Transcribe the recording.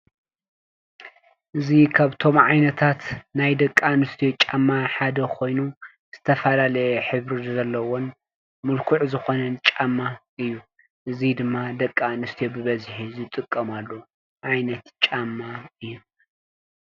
እዚ ካብቶም ዓይነታት ናይ ደቂ ኣንስትዮ ጫማ ሓደ ኮይኑ ዝተፈላለየ ሕብሪ ዘለዎን ምልኩዕ ዝኾነን ጫማ እዩ። እዚ ድማ ደቂ ኣንስትዮ ብበዝሒ ዝጥቀማሉ ዓይነት ጫማ እዩ፡፡